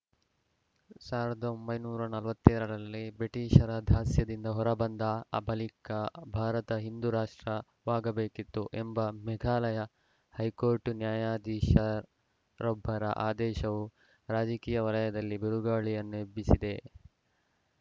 ಸಾವಿರದ ಒಂಬೈನೂರ ನಲವತ್ತ್ ಏಳು ರಲ್ಲಿ ಬ್ರಿಟಿಷರ ದಾಸ್ಯದಿಂದ ಹೊರ ಬಂದ ಅ ಬಳಿಕ ಭಾರತ ಹಿಂದೂ ರಾಷ್ಟ್ರವಾಗಬೇಕಿತ್ತು ಎಂಬ ಮೇಘಾಲಯ ಹೈಕೋರ್ಟ್‌ ನ್ಯಾಯಾಧೀಶ ರೊಬ್ಬರ ಆದೇಶವು ರಾಜಕೀಯ ವಲಯದಲ್ಲಿ ಬಿರುಗಾಳಿಯನ್ನೇ ಎಬ್ಬಿಸಿದೆ